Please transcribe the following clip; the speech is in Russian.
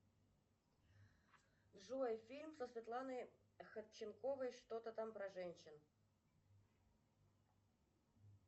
джой фильм со светланой ходченковой что то там про женщин